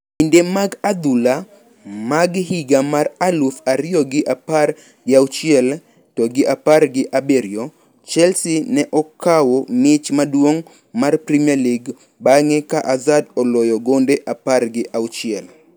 Kinde mag adhula mag higa mar aluf ariyo gi apar gi auchiel to gi apar gi abiriyo, Chelsea ne okawo mich maduong` mar premier league bang`e ka Hazard oloyo gonde apar gi auchiel.